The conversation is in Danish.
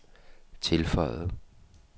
tilføjede